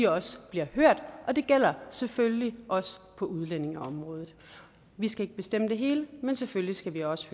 også bliver hørt og det gælder selvfølgelig også på udlændingeområdet vi skal ikke bestemme det hele men selvfølgelig skal vi også